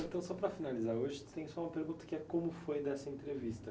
Então, só para finalizar, hoje tem só uma pergunta, que é como foi dessa entrevista?